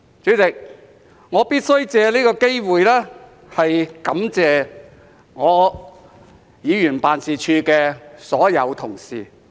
主席，我必須藉此機會感謝我的議員辦事處的所有同事。